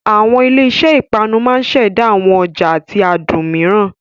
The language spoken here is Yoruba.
Àwọn ilé iṣẹ́ ìpanu máa ṣẹ̀dá àwọn ọ̀ja àti adùn mìíràn.